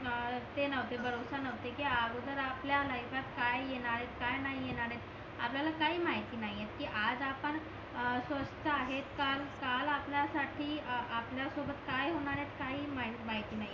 भरोसा नव्हते की अगोदर आपल्या लाईफात काय येनायेत काय नाही येणारेत आपल्याला काही माहिती नाहीये की आज आपण अह स्वस्त आहेत का काल आपल्यासाठी आपल्या सोबत काय होणारेयत काहीही माहित नाही